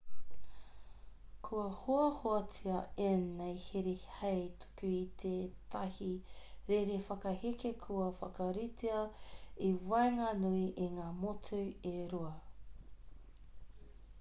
kua hoahoatia ēnei here hei tuku i tētahi rere whakaheke kua whakaritea i waenganui i ngā motu e rua